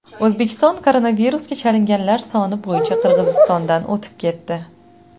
O‘zbekiston koronavirusga chalinganlar soni bo‘yicha Qirg‘izistondan o‘tib ketdi.